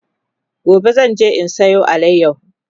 gobe zanje in Sayo alayahon